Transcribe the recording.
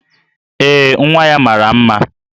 Ee, nwa ya mara mma